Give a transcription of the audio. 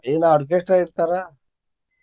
ಇಲ್ಲಾ orchestra ಇರ್ತಾರ.